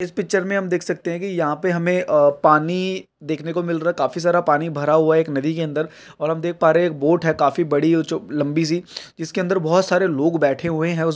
इस पिक्चर में हम देख सकते हैं कि यहां पे हमें अ पानी देखने को मिल रहा है काफी सारा पानी भरा हुआ है एक नदी के अंदर और हम देख पा रहे हैं एक बोट है काफी बड़ी-लंबी सी जिसके अंदर बोहत सारे लोग बैठे हुए हैं ।उस --